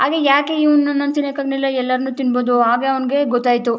ಅದೇ ಯಾಕೆ ಇವ್ನು ನನ್ನನ್ನು ತಿನ್ನಕ್ಕೆ ಆಗಲಿಲ್ಲ ಎಲ್ಲರನು ತಿಂಬೋದು ಹಾಗೆ ಅವನಿಗೆ ಗೊತ್ತಾಯ್ತು.